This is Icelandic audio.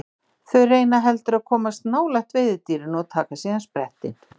Þau reyna heldur að komast nálægt veiðidýrinu og taka síðan sprettinn.